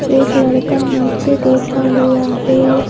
एक लड़का नीचे बैठा हुआ है।